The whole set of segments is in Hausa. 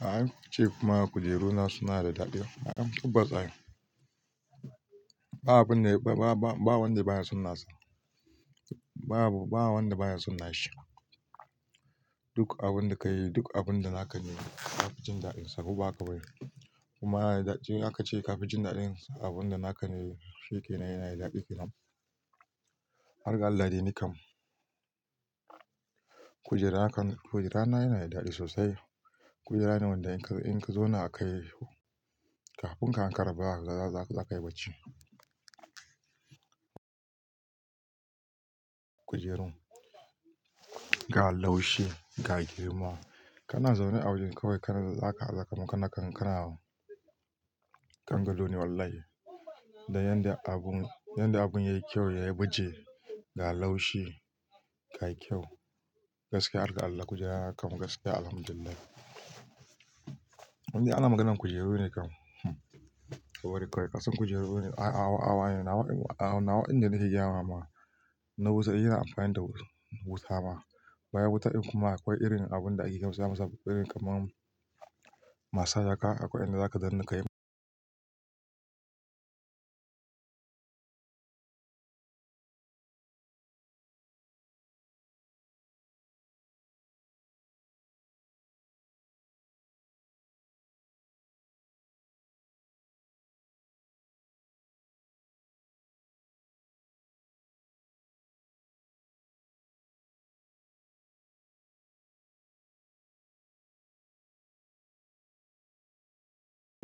A'a ce kuma kujeruna suna da daɗi A'a tabbas ai. Ba abin de ba wanda baya son nasa. Ba wanda baya son nashi. Duk abun da ka yi, duk abun da naka ne, ka fi jin daɗinsa. Ko ba haka bane ce ka fi jin daɗin abun da naka ne shike nan yana da daɗi ke nan. Harga Allah dai ni kam. Kujera haka, kujera na yana da daɗi sosai. Kujera ne wanda in ka zo na akai kafin kafin ka an kara zakayi bacci. Kujeru ga laushi ga girma. Kana zaune a waren kawai kana zaka aza kaman kana kan gado ne wallahi. Da yanda abun, yanda abun ya yi kyau, ya baje ga laushi ga kyau. Gaskiya harga Allah kujera nakam gaskiya Alhamdulillahhi. Inda ana maganan kujeru ne kam hm. Kabari kawai kasan kujeru ne. Awa, nawa inda nake gayama ma na wuta, yana amfani da wuta ma. Bayan wuta in kuma akwai irin abun da ake kyamza kamar masage haka akwai inda zaka danna ka yi.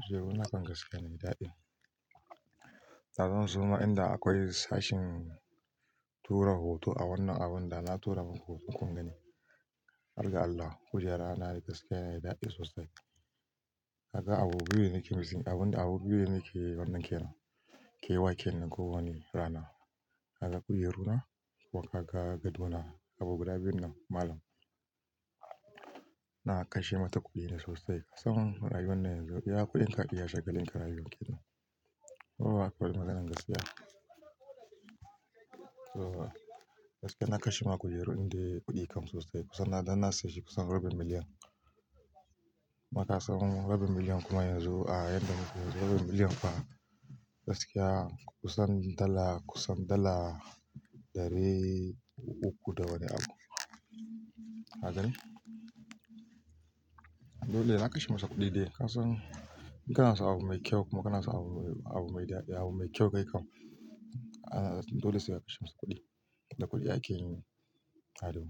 Kujeru nakan gaskiya yana da daɗi da zan so ma inda akwai sashin tura hoto a wannan abun da na tura muku hoton kun gani. Harga Allah kujera na yana gaskiya yana da daɗi sosai. Kasan abu biyu ne nake missin abun abu biyu ne nake wannan ke nan. Ke wa ke nan kowane rana. Kaga kujeruna, kuma kaga gado na, abu guda biyun nan malam. Na kashe mata kuɗi sosai. Kasan rayuwa na yanzu iya kuɗin ka iya shagalin ka rayuwa ke nan. Kowa akwai maganan gaskiya. To gaskiya na kashe ma kujeru inda kuɗi kam sosai. Kusan na dan na saye shi kusan rabi million. Maka san rabi million kuma yanzu a yan da rabi million fa gaskiya kusan dala kusan dala ɗari uku da wani abu. Kaga ne. Dole na kashe mata kuɗi dai. Kasan in kana so abu mai kyau kuma kana so abu mai daɗi abu mai kyau kai kam. Dole sai ka kashe masa kuɗi. Da kuɗi akeyi ado.